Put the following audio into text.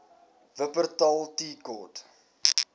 wupperthal tea court